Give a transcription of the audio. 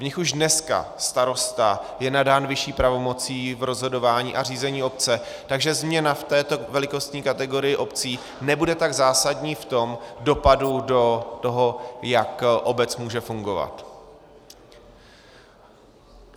V nich už dneska starosta je nadán vyšší pravomocí v rozhodování a řízení obce, takže změna v této velikostní kategorii obcí nebude tak zásadní v tom dopadu do toho, jak obec může fungovat.